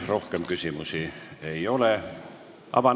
Rohkem küsimusi ei ole.